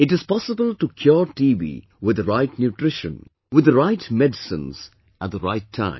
It is possible to cure TB with the right nutrition, with the right medicines at the right time